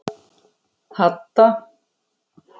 Hadda